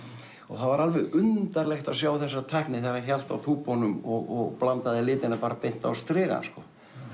það var alveg undarlegt að sjá þessa tækni þegar hann hélt á og blandaði litina bara beint á strigann sko